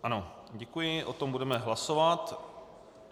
Ano, děkuji, o tom budeme hlasovat.